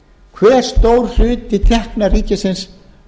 hve stór hluti tekna ríkisins